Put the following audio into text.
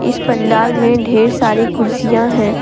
इस पंडाल में ढेर सारी कुर्सियां है।